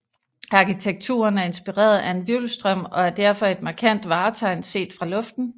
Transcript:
Arkitekturen er inspireret af en hvirvelstrøm og er derfor et markant vartegn set fra luften